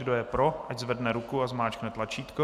Kdo je pro, ať zvedne ruku a zmáčkne tlačítko.